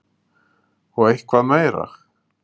Og eitthvað meira?